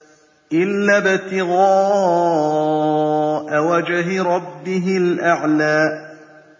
إِلَّا ابْتِغَاءَ وَجْهِ رَبِّهِ الْأَعْلَىٰ